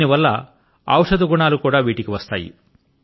దీని వల్ల ఔషధ గుణాలు కూడా వాటి కి వస్తాయి